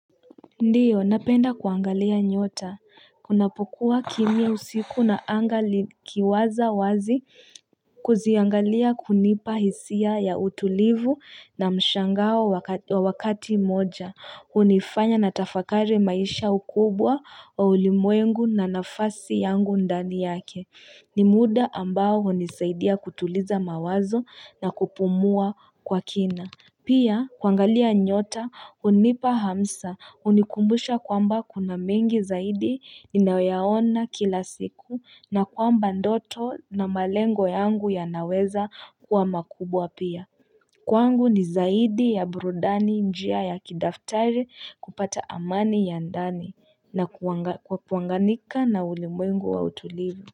Ndiyo, napenda kuangalia nyota, kunapokuwa kimia usiku na anga likiwaza wazi kuziangalia kunipa hisia ya utulivu na mshangao wa wakati moja hunifanya natafakari maisha ukubwa wa ulimwengu na nafasi yangu ndani yake, ni muda ambao hunisaidia kutuliza mawazo na kupumua kwa kina Pia kwangalia nyota hunipa hamsa hunikumbusha kwamba kuna mengi zaidi ninayo yaona kila siku na kwamba ndoto na malengo yangu ya naweza kuwa makubwa pia Kwangu ni zaidi ya burudani njia ya kidaftari kupata amani ya ndani na kuwanganika na ulimwengu wa utulivu.